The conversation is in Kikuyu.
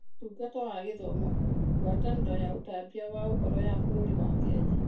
Ũtungata wa Gĩthomo (MoE), Ngwatanĩro ya ũtambia wa Ũhoro ya bũrũri wa Kenya (KBC)